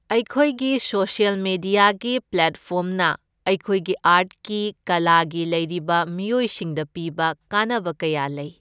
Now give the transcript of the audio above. ꯑꯩꯈꯣꯏꯒꯤ ꯁꯣꯁ꯭ꯌꯜ ꯃꯦꯗꯤꯌꯥꯒꯤ ꯄ꯭ꯂꯦꯠꯐꯣꯔꯝꯅ ꯑꯩꯈꯣꯏꯒꯤ ꯑꯥꯔꯠꯀꯤ ꯀꯂꯥꯒꯤ ꯂꯩꯔꯤꯕ ꯃꯤꯑꯣꯏꯁꯤꯡꯗ ꯄꯤꯕ ꯀꯥꯟꯅꯕ ꯀꯌꯥ ꯂꯩ꯫